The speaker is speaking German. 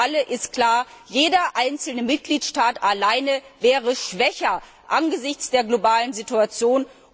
Für alle ist klar Jeder einzelne Mitgliedstaat allein wäre schwächer angesichts der globalen Situation.